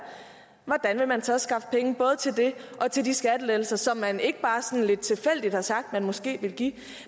hvordan vil man så skaffe pengene både til det og til de skattelettelser som man ikke bare sådan lidt tilfældigt har sagt at man måske vil give